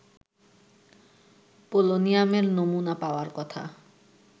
পোলোনিয়ামের নমুনা পাওয়ার কথা